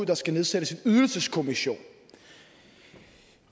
der skal nedsættes en ydelseskommission